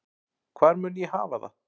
Hvar mun ég hafa það?